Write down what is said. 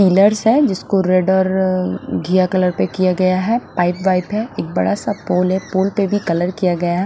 Pillars हैं जिसको red और घिया कलर पे किया गया है पाइप वाइप हैं एक बड़ा सा पोल है पोल पे भी कलर किया गया है।